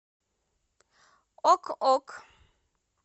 ок ок